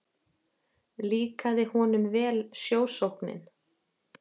Líkaði honum vel sjósóknin.